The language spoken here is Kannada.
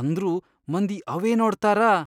ಅಂದ್ರೂ ಮಂದಿ ಅವೇ ನೋಡ್ತಾರ.